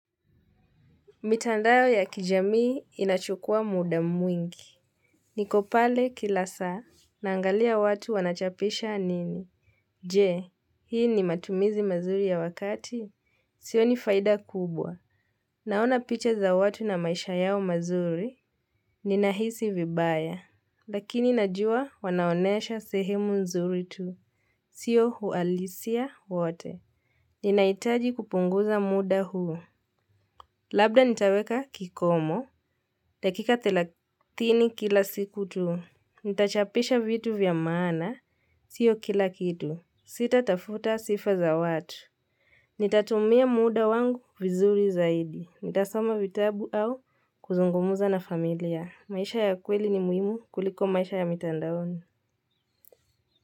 Mitandao ya kijamii inachukua muda mwingi. Niko pale kila saa, naangalia watu wanachapisha nini. Je, hii ni matumizi mazuri ya wakati? Sioni faida kubwa. Naona picha za watu na maisha yao mazuri. Ninahisi vibaya. Lakini najua wanaonyesha sehemu nzuri tu. Sio uhalisia wote. Ninahitaji kupunguza muda huo. Labda nitaweka kikomo. Dakika thelathini kila siku tu. Nitachapisha vitu vya maana. Sio kila kitu. Sitatafuta sifa za watu. Nitatumia muda wangu vizuri zaidi. Nitasoma vitabu au kuzungumza na familia. Maisha ya kweli ni muhimu kuliko maisha ya mitandaoni.